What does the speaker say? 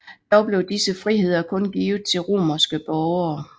Dog blev disse friheder kun givet til romerske borgere